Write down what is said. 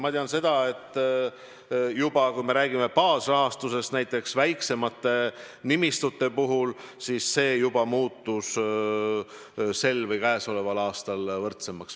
Ma tean, et kui me räägime baasrahastusest näiteks väiksemate nimistute puhul, siis see juba muutus käesoleval aastal võrdsemaks.